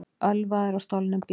Ölvaður á stolnum bíl